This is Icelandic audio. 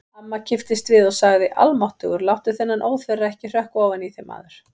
Amma kipptist við og sagði: Almáttugur, láttu þennan óþverra ekki hrökkva ofan í þig, maður